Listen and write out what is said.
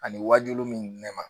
Ani wajulu min ne ma